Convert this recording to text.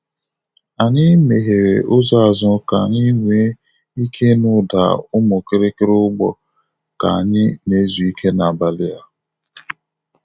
Anyị megheere ụzọ azụ ka anyị nwee ike ịnụ ụda ụmụkịrịkịrị ugbo ka anyị na-ezu ike n’abalị a.